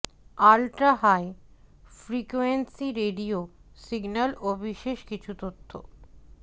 ultra high frequency radio signal ও বিশেষ কিছু তথ্য